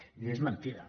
i això és mentida